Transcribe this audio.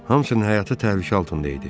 Hamısının həyatı təhlükə altında idi.